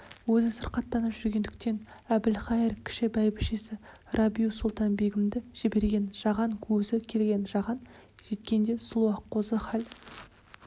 өзі сырқаттанып жүргендіктен әбілқайыр кіші бәйбішесі рабиу-сұлтан-бегімді жіберген жаған өзі келген жаған жеткенде сұлу аққозы хал